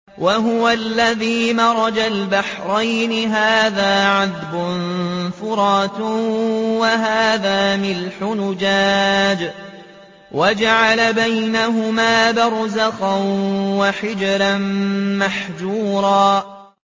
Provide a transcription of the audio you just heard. ۞ وَهُوَ الَّذِي مَرَجَ الْبَحْرَيْنِ هَٰذَا عَذْبٌ فُرَاتٌ وَهَٰذَا مِلْحٌ أُجَاجٌ وَجَعَلَ بَيْنَهُمَا بَرْزَخًا وَحِجْرًا مَّحْجُورًا